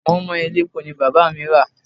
Moin Moin elépo ni Bàbá mi rà.